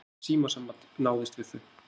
Ekkert símasamband náðist við þau